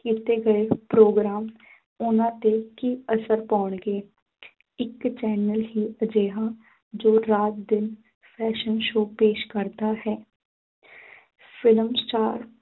ਕੀਤੇ ਗਏ ਪ੍ਰੋਗਰਾਮ ਉਨ੍ਹਾਂ ਤੇ ਕੀ ਅਸਰ ਪਾਉਣਗੇ ਇੱਕ channel ਹੀ ਅਜਿਹਾ ਜੋ ਰਾਤ ਦਿਨ fashion show ਪੇਸ਼ ਕਰਦਾ ਹੈ film star